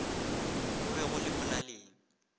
go be go le molaleng